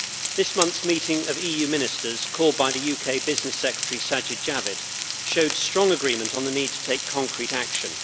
This month's meeting of EU Ministers, called by the UK Business Secretary Sajid Javid, showed strong agreement on the need to take concrete action.